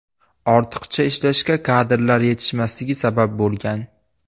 Ortiqcha ishlashga kadrlar yetishmasligi sabab bo‘lgan.